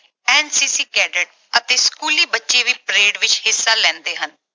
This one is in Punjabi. NCC cadet ਅਤੇ ਸਕੂਲੀ ਬੱਚੇ ਵੀ parade ਵਿੱਚ ਹਿੱਸਾ ਲੈਂਦੇ ਹਨ।